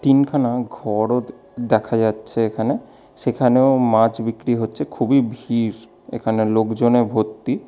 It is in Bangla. তিনখানা ঘরও দ্ দেখা যাচ্ছে এখানে সেখানেও মাছ বিক্রি হচ্ছে খুবই ভিড় এখানে লোকজনে ভর্তি।